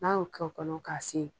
N'an y'o kɛ o kɔnɔ k'a sin